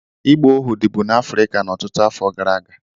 Ịgba ohu dịbu n'Afrịka ọtụtụ afọ gara aga.